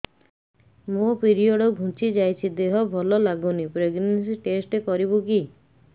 ମୋ ପିରିଅଡ଼ ଘୁଞ୍ଚି ଯାଇଛି ଦେହ ଭଲ ଲାଗୁନି ପ୍ରେଗ୍ନନ୍ସି ଟେଷ୍ଟ କରିବୁ କି